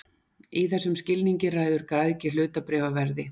Í þessum skilningi ræður græðgi hlutabréfaverði.